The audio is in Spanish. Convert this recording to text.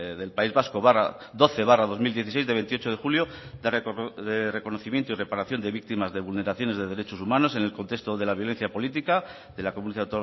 del país vasco doce barra dos mil dieciséis de veintiocho de julio de reconocimiento y reparación de víctimas de vulneraciones de derechos humanos en el contexto de la violencia política de la comunidad